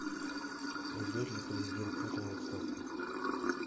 уйдет ли президент путин в отставку